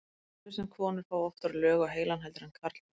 svo virðist sem konur fái oftar lög á heilann heldur en karlmenn